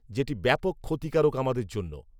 যেটি ব্যাপক ক্ষতিকারক আমাদের জন্য